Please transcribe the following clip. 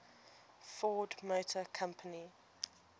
ford motor company